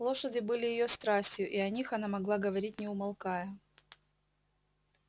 лошади были её страстью и о них она могла говорить не умолкая